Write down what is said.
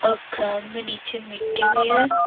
Ground में नीचे मिट्टी भी है।